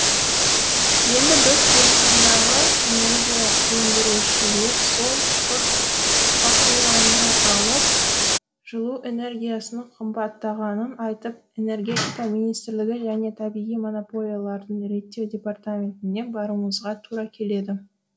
енді біз қазақстандағы энергия өндірушілер сол фактураны алып жылу энергиясының қымбаттағанын айтып энергетика министрлігі және табиғи монополияларды реттеу департаментіне баруымызға тура келеді